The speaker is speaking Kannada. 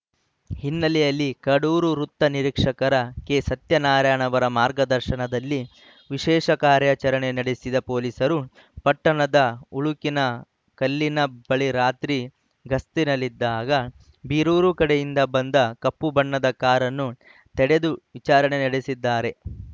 ಹಿನ್ನೆಲೆಯಲ್ಲಿ ಕಡೂರು ವೃತ್ತ ನಿರೀಕ್ಷಕ ಕೆಸತ್ಯನಾರಾಯಣ್‌ ಅವರ ಮಾರ್ಗದರ್ಶನದಲ್ಲಿ ವಿಶೇಷ ಕಾರ್ಯಾಚರಣೆ ನಡೆಸಿದ ಪೊಲೀಸರು ಪಟ್ಟಣದ ಉಳುಕಿನ ಕಲ್ಲಿನ ಬಳಿ ರಾತ್ರಿ ಗಸ್ತಿನಲ್ಲಿದ್ದಾಗ ಬೀರೂರು ಕಡೆಯಿಂದ ಬಂದ ಕಪ್ಪು ಬಣ್ಣದ ಕಾರನ್ನು ತಡೆದು ವಿಚಾರಣೆ ನಡೆಸಿದ್ದಾರೆ